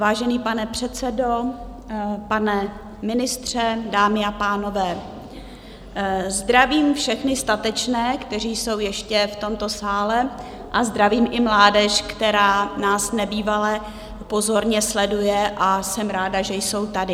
Vážený pane předsedo, pane ministře, dámy a pánové, zdravím všechny statečné, kteří jsou ještě v tomto sále, a zdravím i mládež, která nás nebývale pozorně sleduje, a jsem ráda, že jsou tady.